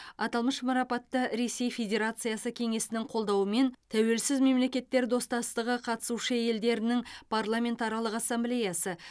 аталмыш марапатты ресей федерациясы кеңесінің қолдауымен тәуелсіз мемлекеттер достасығының қатысушы елдерінің парламентаралық ассамблеясы